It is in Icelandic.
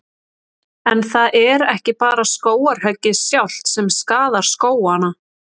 En það er ekki bara skógarhöggið sjálft sem skaðar skógana.